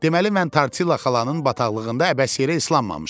Deməli mən Tortilla xalanın bataqlığında əbəs yerə islanmamışam.